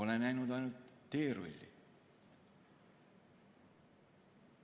Olen näinud ainult teerulli.